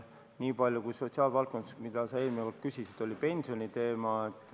Niipalju võin öelda sotsiaalvaldkonna kohta, et sa ka eelmine kord küsisid pensioniteema kohta.